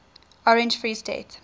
orange free state